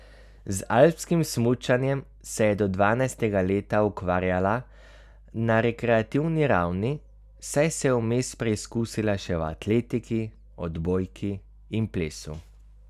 Z alpskim smučanjem se je do dvanajstega leta ukvarjala na rekreativni ravni, saj se je vmes preizkusila še v atletiki, odbojki in plesu.